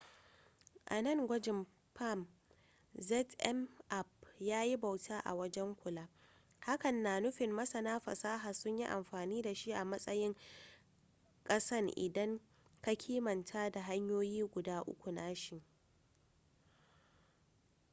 a nan gwajin palm zmapp yayi bauta a wajen kula hakan na nufin masana fasaha sun yi amfani da shi a matsayin kasan idan ka kimanta da hanyoyin guda uku nashi